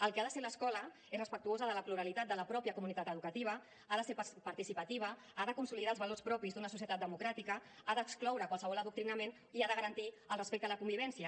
el que ha de ser l’escola és respectuosa de la pluralitat de la pròpia comunitat educativa ha de ser participativa ha de consolidar els valors propis d’una societat democràtica ha d’excloure qualsevol adoctrinament i ha de garantir el respecte a la convivència